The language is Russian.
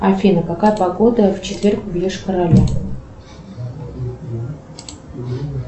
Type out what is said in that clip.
афина какая погода в четверг в йошкар оле